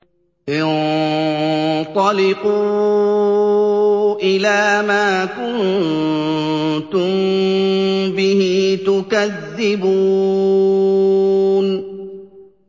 انطَلِقُوا إِلَىٰ مَا كُنتُم بِهِ تُكَذِّبُونَ